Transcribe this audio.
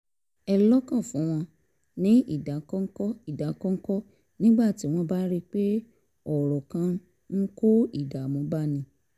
ẹ́ lọ́kàn fún wọn ní ìdákọ́ńkọ́ ìdákọ́ńkọ́ nígbà tí wọ́n bá rí i pé ọ̀rọ̀ kan ń kó ìdààmú báni